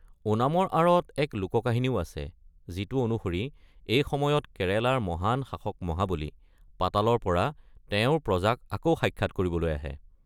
ওনামৰ আঁৰত এক লোককাহিনীও আছে, যিটো অনুসৰি এই সময়ত কেৰালাৰ মহান শাসক মহাবলি, পাতালৰ পৰা তেওঁৰ প্ৰজাক আকৌ সাক্ষাত কৰিবলৈ আহে।